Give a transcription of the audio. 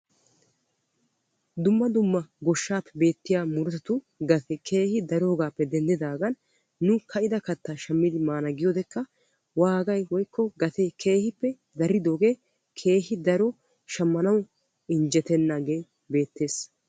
Dumma dumma goshshaappe beettiyaa murutatu gatee keehi daroogaappe denddidaagan nu ka"ida kattaa shammidi maana giyoo wodekka waagay woykko gatee keehippe daridoogee keehi daro shammanaw injjetennaagee beettes.